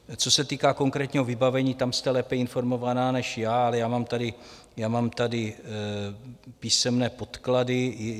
Co se týká konkrétního vybavení, tam jste lépe informovaná než já, ale já mám tady písemné podklady.